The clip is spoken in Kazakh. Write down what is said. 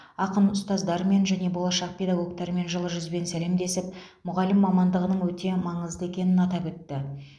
ақын ұстаздармен және болашақ педагогтармен жылы жүзбен сәлемдесіп мұғалім мамандығының өте маңызды екенін атап өтті